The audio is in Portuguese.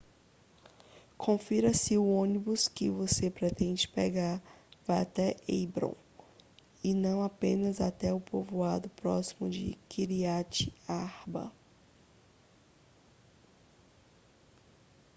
confira se o ônibus que você pretende pegar vai até hebrom e não apenas até o povoado próximo de kiryat arba